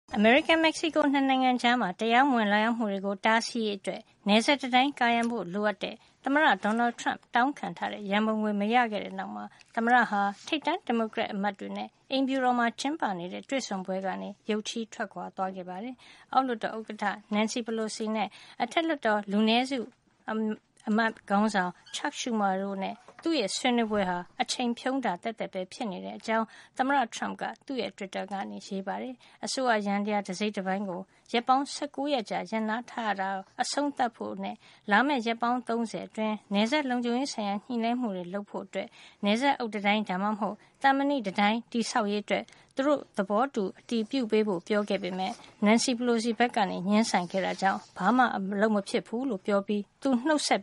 အမေရိကန်-မက်ဆီကို ၂ နိုင်ငံကြား တရားမဝင် လာရောက်မှုတွေကို တားဆီးရေး အတွက် နယ်စပ်တံတိုင်း ကာရံဖို့လိုအပ်တဲ့ သမ္မတ Donald Trump တောင်းခံထားတဲ့ ရံပုံငွေ မရခဲ့တဲ့နောက်မှာ သမ္မတက ထိပ်တန်း ဒီမိုကရက် အမတ်တွေနဲ့ အိမ်ဖြူတော်မှာ ကျင်းပတဲ့ တွေ့ဆုံပွဲကနေ ရုတ်ချည်း ထွက်ခွါ သွားခဲ့ပါတယ်။ အောက်လွှတ်တော် ဥက္ကဌ Nancy Pelosi နဲ့ အထက်လွှတ်တော် လူနဲစု အမတ် ခေါင်းဆောင် Chuck Schumer တို့နဲ့ သူ့ရဲ့ ဆွေးနွေးပွဲဟာ အချိန်ဖြုန်းတာ သက်သက်ပဲ ဖြစ်နေတဲ့အကြောင်း သမ္မတ Trump က သူ့တွစ်တာက ရေးပါတယ်။ အစိုးရယန္တရား တစိတ်ပိုင်းကို ရက်ပေါင်း ၁၉ ရက်ကြာ ရပ်နားထားမှုကို အဆုံးသတ်ဖို့ နဲ့ လာမယ့် ရက်ပေါင်း ၃၀ အတွင်း နယ်စပ်လုံခြုံရေးဆိုင်ရာ ညှိနှိုင်းမှုတွေ လုပ်ဖို့အတွက် နယ်စပ် အုတ်တံတိုင်း ဒါမှမဟုတ် သံမဏိတံတိုင်း တည်ဆောက်ရေးကို သူတို့ သဘောတူ အတည်ပြုဖို့ ပြောခဲ့ပေမယ့် Nancy Pelosi က ငြင်းဆန်ခဲ့တာကြောင့် ဘာမှ အလုပ်မဖြစ်ဖူးလို့ ပြောပြီး သူနှုတ်ဆက်